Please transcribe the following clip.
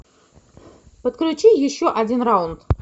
подключи еще один раунд